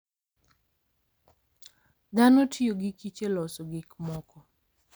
Dhano tiyo gi kich e loso gik moko.